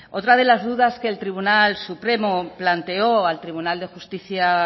otra de las dudas que el tribunal supremo planteó al tribunal de justicia